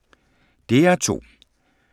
DR2